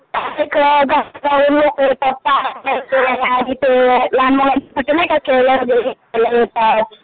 बाहेरून लोकं येतात लहान मुलांसाठी खेळणं वगैरे खेळाय येतात